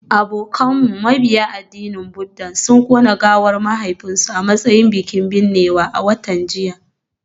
Abokinmu mabiya addinin Buddah sun kona gawar mahaifinsu a matsayin bikin binnewa a watan jiya